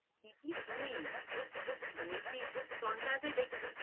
কি কি শুনিস বলছি তুই